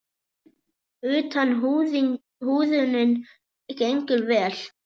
Utan húðunin gengur vel.